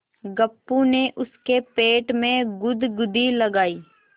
गप्पू ने उसके पेट में गुदगुदी लगायी